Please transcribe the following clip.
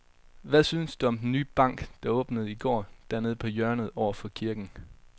Hvad synes du om den nye bank, der åbnede i går dernede på hjørnet over for kirken?